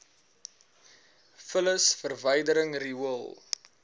vullis verwydering riool